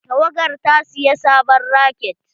Tawagar ta saya sabon raket.